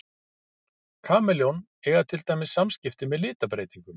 Kameljón eiga til dæmis samskipti með litabreytingum.